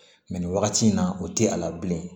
Mɛ nin wagati in na o tɛ a la bilen